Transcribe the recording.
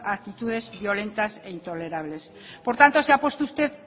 a actitudes violentas e intolerables por tanto se ha puesto usted